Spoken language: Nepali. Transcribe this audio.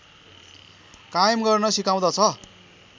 कायम गर्न सिकाउँदछ